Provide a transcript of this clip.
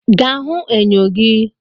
Ga hụ enyo gi!